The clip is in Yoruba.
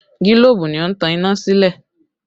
Gilobu ni ó ń tan iná sílé